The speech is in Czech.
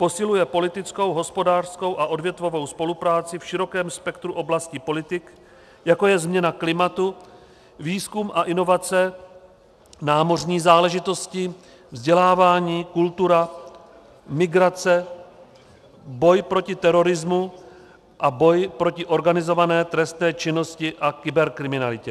Posiluje politickou, hospodářskou a odvětvovou spolupráci v širokém spektru oblasti politik, jako je změna klimatu, výzkum a inovace, námořní záležitosti, vzdělávání, kultura, migrace, boj proti terorismu a boj proti organizované trestné činnosti a kyberkriminalitě.